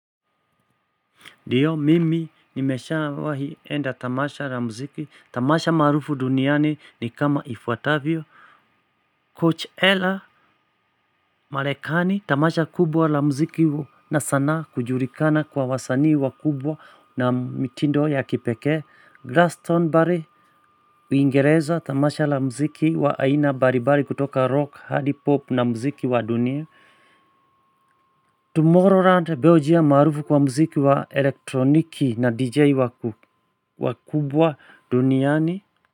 Ndiyo mimi nimeshawahi enda tamasha la mziki, tamasha maarufu duniani ni kama ifuatavyo Coach Ella Marekani tamasha kubwa la mziki sanaa kujulikana kwa wasanii wakubwa na mtindo ya pekee, glaston barry Uingereza tamasha la mziki wa aina mbali mbali kutoka rock hadi pop na mziki wa dunia Tomorrowland beljia maarufu kwa mziki wa elektroniki na DJ wakubwa duniani.